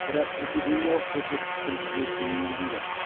бірақ эпидемиялық көрсеткіш күнтізбесіне енгізілген